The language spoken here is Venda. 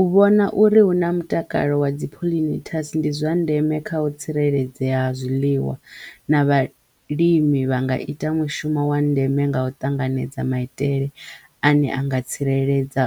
U vhona uri hu na mutakalo wa dzi pollinators ndi zwa ndeme kha u tsireledzea ha zwiḽiwa na vhalimi vha nga ita mushumo wa ndeme nga u ṱanganedza maitele ane a nga tsireledza